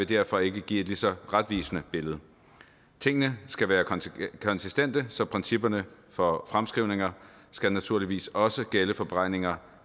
derfor ikke vil give et lige så retvisende billede tingene skal være konsistente så principperne for fremskrivninger skal naturligvis også gælde for beregning